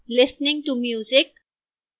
listening to music